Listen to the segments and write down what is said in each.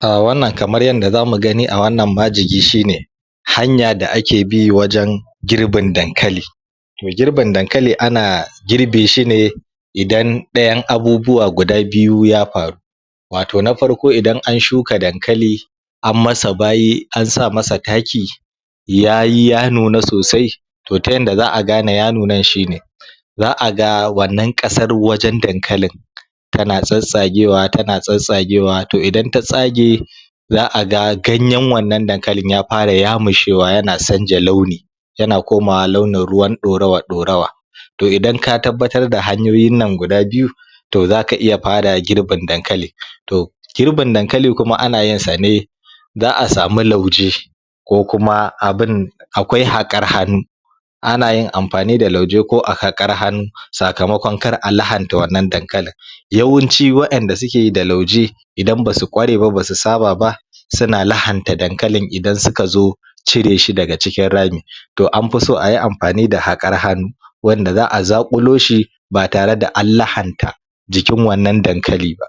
A wannan kamar yadda za mu gani a wannan majigi shi ne, hanya da ake bi wajen girbin Dankali to girbin Dankali ana girbe shi ne idan ɗayan abubuwa guda biyu ya faru wato na farko idan an shuka Dankali an masa bayi an sa masa taki yayi ya nuna sosai to ta yadda za a gane ya nunan shi ne za a ga wannan ƙasar wajen Dankalin tana tsattsagewa tana tsasstagewa idan ta tsage za a ga ganyen wannan Dankalin ya fra yamushewa yan sanja launi yana komawa launin ruwan ɗorawa ɗorawa to idan ka tabbatar da hanyoyin nan guda biyu to zaka iya fara girbin Dankalin to girbin Dankali kuma ana yinsa ne za a samu lauje ko kuma abinda akwai haƙar hannu ana yin amfani da lauje ko a haƙar hannu sakamakon kar a lahanta wannan Dankali yawanci wa'yenda suke yi da lauje idan basu kware ba ba su saba ba suna lahanta Dankalin idan suka zo cire shi daga cikin rami to an fi so ayi amfani da haƙar hannu wanda za a zaƙulo shi ba tare da an lahanta jikin wannan Dankali ba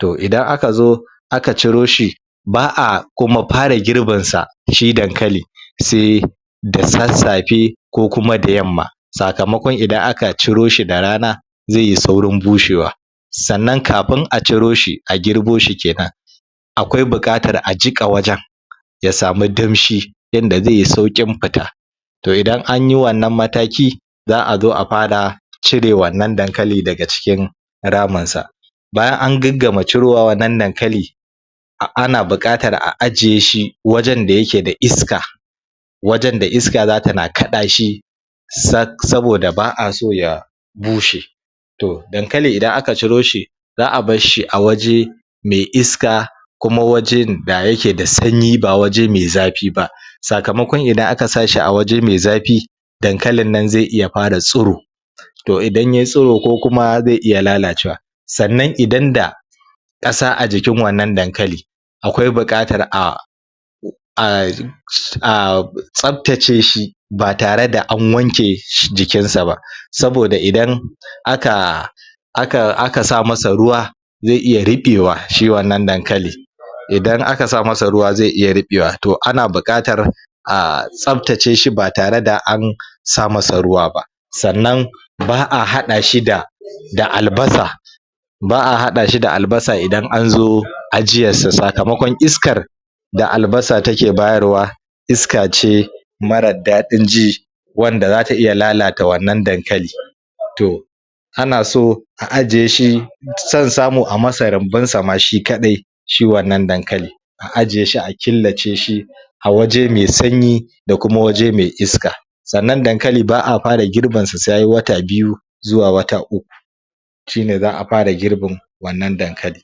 to idan aka zo aka ciro shi ba a kuma fara girbinsa shi Dankali se da sassafe ko kuma da yamma sakamkon idan aka ciro shi da rana zai yi saurin bushewa sannan kafin a ciro shi a girbo shi kenan akwai buƙatar a jiƙa wajen ya samu danshi inda zai yi sauƙin fita to idan anyi wannan mataki za a zo a fara cire wannan Dankali daga cikin raminsa bayan an gaggama cirowa wannan Dankali ana buƙatar a ajiye shi wajen da yake da iska wajen da iska zata na kaɗa shi sak saboda ba a so ya bushe to Dankali idan aka ciro shi za a barshi a waje me iska kuma waje da yake da sanyi ba waje me zafi ba sakamakon idan aka sa shi a waje mai zafi Dankalin nan zai iya fara tsiro to idan yai stiro ko kuma zai iya lalacewa sannan idan da ƙasa a jikin wannan Dankali akwai buƙatar a??? tsaftace shi ba tare da an wanke jikinsa ba saboda idan aka aka aka sa masa ruwa zai iya ruɓewa shi wannan Dankali idan aka sa masa ruwa zai iya ruɓewa to ana buƙatar a tsaftace shi ba tqre da an sa masa ruwa ba sannan ba a haɗa shi da da Albasa ba a haɗa shi da Albasa idan an zo ajiyarsa sakamakon iskar da Albasa take bayarwa iska ce marar daɗin ji wanda zata iya lalata wannan Dankali to ana so a a jiye shi san samu ai masa rumbunsa ma shi kaɗai Shi wannan Dankali a ajiye shi a killace shi a waje mai sanyi da kuma waje mai iska sannan Dankali ba a fara girbinsa sai ya yi wata biyu zuwa wata uku shi ne za a fara girbin wannan Dankali